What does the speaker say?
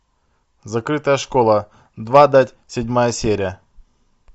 закрытая школа двадцать седьмая серия